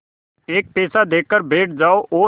एक पैसा देकर बैठ जाओ और